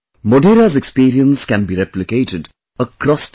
Modhera's experience can be replicated across the country